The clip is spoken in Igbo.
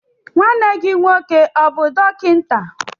Nwanne gị nwoke ọ bụ dọkịta?